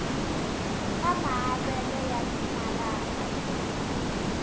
ka maavelo ya timaraka exikarhi